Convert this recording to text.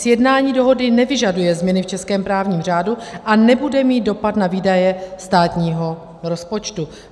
Sjednání dohody nevyžaduje změny v českém právním řádu a nebude mít dopad na výdaje státního rozpočtu.